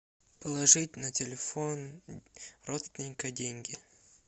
положить на телефон родственника деньги